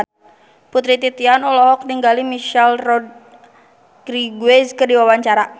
Putri Titian olohok ningali Michelle Rodriguez keur diwawancara